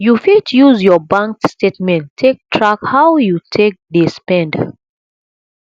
you fit use your bank statement take track how you take dey spend